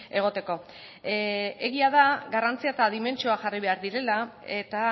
egoteko egia da garrantzia eta dimentsioa jarri behar direla eta